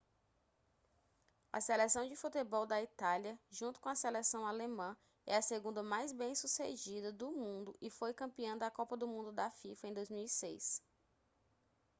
a seleção de futebol da itália junto com a seleção alemã é a segunda mais bem-sucedida do mundo e foi campeã da copa do mundo da fifa em 2006